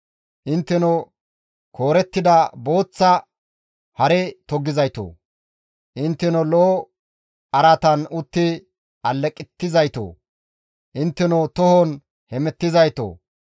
«Intteno koorettida booththa hare toggizaytoo! Intteno lo7o araatan utti aleqettizaytoo! Intteno tohon hemettizaytoo!